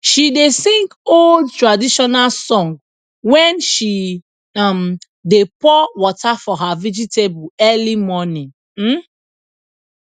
she dey sing old traditional song when she um dey pour water for her vegetable early morning um